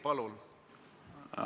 Palun!